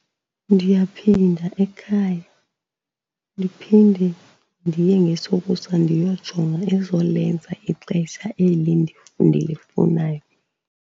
Ndiyaphinda ekhaya, ndiphinde ndiye ngesokusa ndiyojonga ezolenza ixesha eli ndilifunayo.